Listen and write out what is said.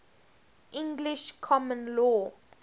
english common law